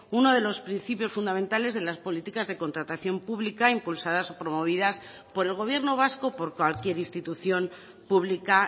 uno de los principios fundamentales de las políticas de contratación pública impulsadas o promovidas por el gobierno vasco por cualquier institución pública